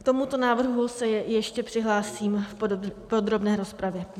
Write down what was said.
K tomuto návrhu se ještě přihlásím v podrobné rozpravě.